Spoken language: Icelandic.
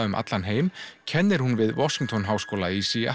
um allan heim kennir hún við Washington háskóla í